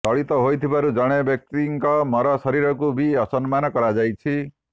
ଦଳିତ ହୋଇଥିବାରୁ ଜଣେ ବ୍ୟକ୍ତିଙ୍କ ମର ଶରୀରକୁ ବି ଅସମ୍ମାନ କରାଯାଇଛି